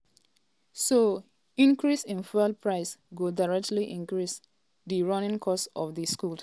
so increase in fuel price go directly increase di running cost of di schools.